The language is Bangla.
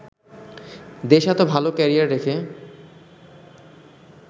দেশে এতো ভালো ক্যারিয়ার রেখে